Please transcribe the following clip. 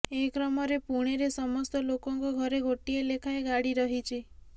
ଏ କ୍ରମରେ ପୁଣେରେ ସମସ୍ତ ଲୋକଙ୍କ ଘରେ ଗୋଟିଏ ଲେଖାଏଁ ଗାଡ଼ି ରହିଛି